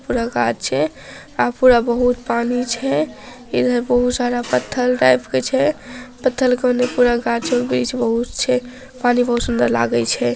पुरा गाछ छै अ पुरा पानी छै इधर बहुत सारा पथल टाइप छै पथल के ओन्ने पुरा गाछ और वृछ बहुत छै पानी बहुत सुंदर छै।